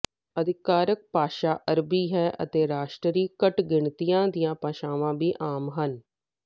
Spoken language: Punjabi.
ਅਧਿਕਾਰਕ ਭਾਸ਼ਾ ਅਰਬੀ ਹੈ ਅਤੇ ਰਾਸ਼ਟਰੀ ਘੱਟ ਗਿਣਤੀਆਂ ਦੀਆਂ ਭਾਸ਼ਾਵਾਂ ਵੀ ਆਮ ਹਨ